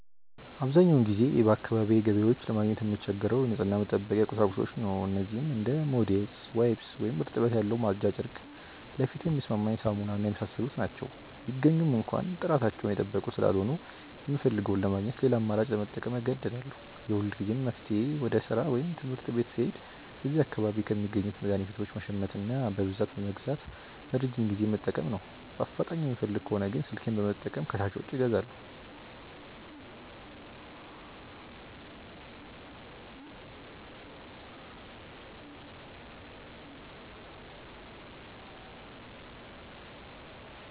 አብዛኛውን ጊዜ በአካባቢዬ ገበያዎች ለማግኘት የምቸገረው የንጽህና መጠበቂያ ቁሳቁሶችን ነው። እነዚህም እንደ ሞዴስ፣ ዋይፕስ (እርጥበት ያለው ማጽጃ ጨርቅ)፣ ለፊቴ የሚስማማኝ ሳሙና እና የመሳሰሉት ናቸው። ቢገኙም እንኳ ጥራታቸውን የጠበቁ ስላልሆኑ፣ የምፈልገውን ለማግኘት ሌላ አማራጭ ለመጠቀም እገደዳለሁ። የሁልጊዜም መፍትሄዬ ወደ ሥራ ወይም ትምህርት ቤት ስሄድ እዚያ አካባቢ ከሚገኙ መድኃኒት ቤቶች መሸመትና በብዛት በመግዛት ለረጅም ጊዜ መጠቀም ነው። በአፋጣኝ የምፈልግ ከሆነ ግን ስልኬን በመጠቀም ከሻጮች አዛለሁ።